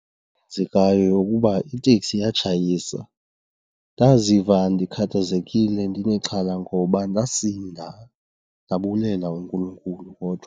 Eyenzekayo yeyokuba iteksi yatshayisa. Ndaziva ndikhathazekile ndinexhala ngoba ndasinda, ndabulela uNkulunkulu kodwa.